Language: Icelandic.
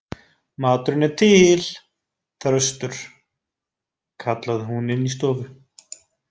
Maturinn er til, Þröstur, kallaði hún inní stofu.